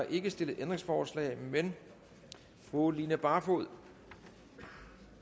ikke stillet ændringsforslag fru line barfod har